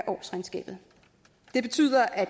årsregnskabet det betyder at